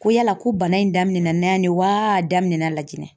Ko yala ko bana in daminɛna yan de waa, a daminɛna Lajiginɛ